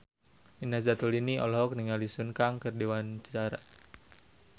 Nina Zatulini olohok ningali Sun Kang keur diwawancara